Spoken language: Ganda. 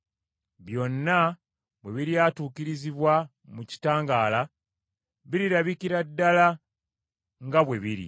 Byonna bwe biryatuukirizibwa mu kitangaala, birirabikira ddala nga bwe biri.